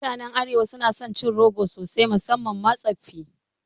Mutanen Arewa suna son cin goro sosai musamman ma tsoffi